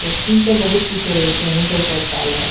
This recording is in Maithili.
फैक्ट्री में ते बहुत किछो रहे छै आहां सब के